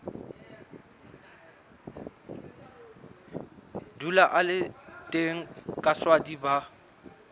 dula a le teng kaswadi ba